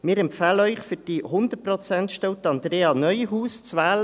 Wir empfehlen Ihnen, für die 100-Prozent-Stelle Andrea Neuhaus zu wählen.